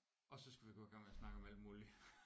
Og så skal vi gå i gang med at snakke om alt muligt